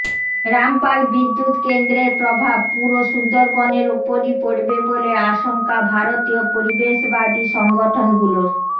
রামপাল বিদ্যুৎ কেন্দ্রের প্রভাব পুরো সুন্দরবনের ওপরই পড়বে বলে আশংকা ভারতীয় পরিবেশবাদী সংগঠনগুলোর